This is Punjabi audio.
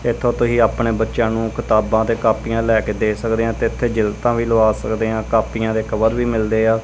ਇੱਥੋਂ ਤੁਸੀਂ ਆਪਣੇ ਬੱਚਿਆਂ ਨੂੰ ਕਿਤਾਬਾਂ ਤੇ ਕਾਪੀਆਂ ਲੈ ਕੇ ਦੇ ਸਕਦੇ ਹਾਂ ਤੇ ਇੱਥੇ ਜਿਲਤਾਂ ਵੀ ਲਵਾਂ ਸਕਦੇ ਹਾਂ ਕਾਪੀਆਂ ਦੇ ਕਵਰ ਵੀ ਮਿਲਦੇ ਆ।